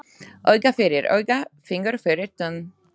Auga fyrir auga, fingur fyrir tönn.